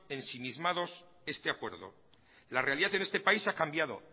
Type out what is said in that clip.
ensimismados este acuerdo la realidad en este país ha cambiado